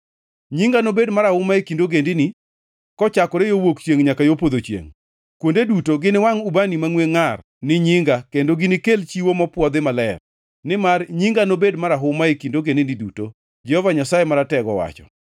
“Nyinga nobed marahuma e kind ogendini, kochakore yo wuok chiengʼ nyaka yo podho chiengʼ. Kuonde duto giniwangʼ ubani mangʼwe ngʼar ni nyinga kendo ginikel chiwo mopwodhi maler, nimar nyinga nobed marahuma e kind ogendini duto,” Jehova Nyasaye Maratego owacho.